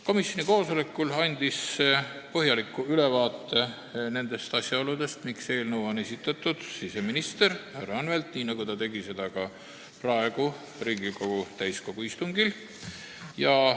Komisjoni koosolekul andis põhjaliku ülevaate nendest asjaoludest, miks eelnõu on esitatud, siseminister härra Anvelt, kes tegi seda ka praegu Riigikogu täiskogu istungil.